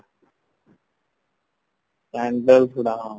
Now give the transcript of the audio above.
candles ଗୁଡା ହଁ